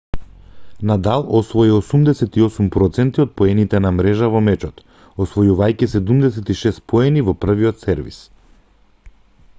надал освои 88 % од поените на мрежа во мечот освојувајќи 76 поени во првиот сервис